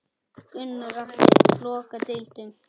Gunnar Atli: Loka deildum?